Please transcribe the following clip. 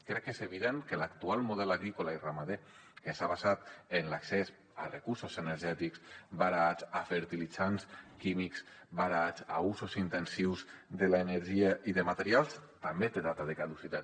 crec que és evident que l’actual model agrícola i ramader que s’ha basat en l’accés a recursos energètics barats a fertilitzants químics barats a usos intensius de l’energia i de materials també té data de caducitat